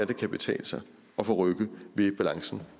det kan betale sig at få rykket ved balancen